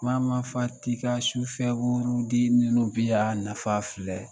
Mama fati ka sufɛ wurudili ninnu bɛ yan nafa filɛ